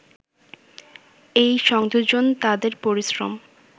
এই সংযোজন তাদের পরিশ্রম